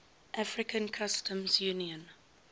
african customs union